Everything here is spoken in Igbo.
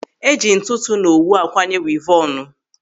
Eji ntụtụ na owu akwanye wivọnu.